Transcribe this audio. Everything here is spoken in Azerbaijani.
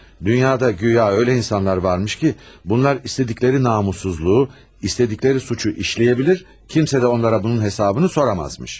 Dünyada guya elə insanlar varmış ki, bunlar istədikləri namussuzluğu, istədikləri cinayəti işləyə bilər, kimsə də onlara bunun hesabını soruşa bilməzmiş.